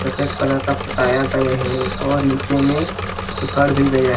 सफेद कलर का पोताया गया है और नीचे में उखड़ भी गया हैं।